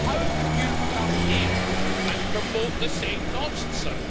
How can you come here and promote the same nonsense?